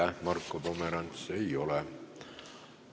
Aitäh, Marko Pomerants!